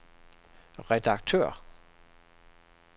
redaktør